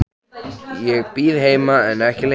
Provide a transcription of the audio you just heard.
Ég bíð heima en ekki lengi.